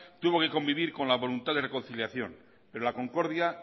tuvo que convivir con la voluntad de reconciliación pero la concordia